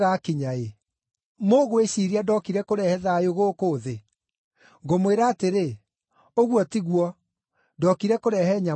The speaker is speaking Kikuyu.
Mũgwĩciiria ndokire kũrehe thayũ gũkũ thĩ? Ngũmwĩra atĩrĩ, ũguo tiguo, ndookire kũrehe nyamũkano.